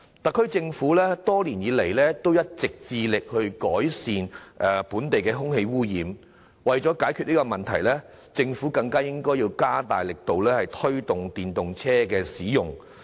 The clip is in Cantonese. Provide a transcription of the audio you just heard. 特區政府多年來一直致力改善本地空氣污染問題，而為了解決這問題，政府更應加大力度推動電動車的使用。